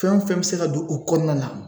Fɛn o fɛn bɛ se ka don o kɔnɔna na